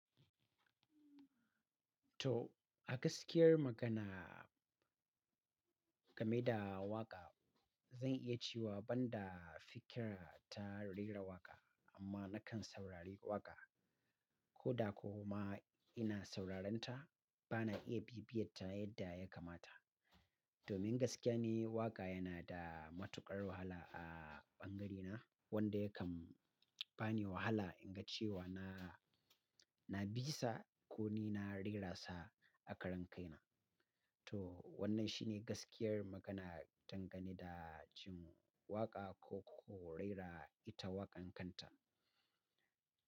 To, a gaskiyar magana game da waƙa, zan iya cewa ban da fikira ta rera waƙa amma na kan saurari waƙa. Ko da ko ma ina sauraren ta, ba na iya bibiyatta yadda ya kamata. Domin gaskiya ni waƙa yana da matuƙar wahala a ɓangarena wanda yakan bani wahala in ga cewa na, na bisa ko ni na rera sa a karan kaina. To wannan shine gaskiyar magana dangane da jin waƙa ko, ko rera ita waƙan kanta.